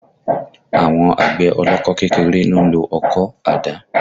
Àwọn àgbẹ̀ ọlọ́kọ́ kékeré ló ń lo ọkọ̀, àdá